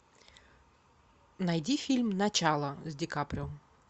найди фильм начало с ди каприо